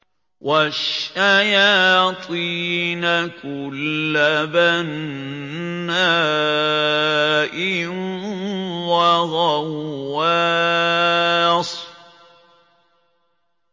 وَالشَّيَاطِينَ كُلَّ بَنَّاءٍ وَغَوَّاصٍ